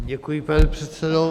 Děkuji, pane předsedo.